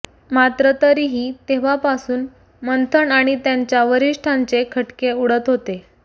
मात्र तरीही तेव्हापासून मंथन आणि त्यांच्या वरिष्ठांचे खटके उडत होते